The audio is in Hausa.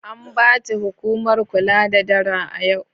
An bace hukumar kula da dara a yau.